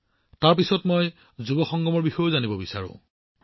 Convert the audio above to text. ইয়াৰ পিছত মই যুৱ সংগমৰ বিষয়েও জানিব বিচাৰো